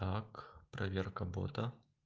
так проверка бота